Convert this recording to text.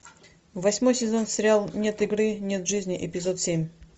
восьмой сезон сериала нет игры нет жизни эпизод семь